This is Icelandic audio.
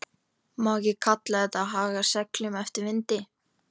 Má ekki kalla þetta að haga seglum eftir vindi?